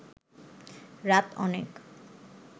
রাত অনেক